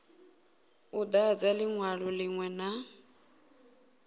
u dadza linwalo linwe na